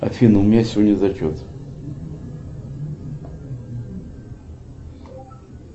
афина у меня сегодня зачет